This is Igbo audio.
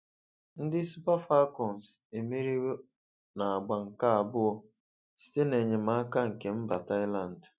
Ndị Super Falcons emeriwo n'agba nke abụọ site na enyemaka nke mba Thailand.